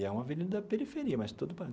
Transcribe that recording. E é uma avenida periferia, mas tudo parado.